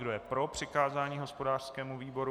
Kdo je pro přikázání hospodářskému výboru?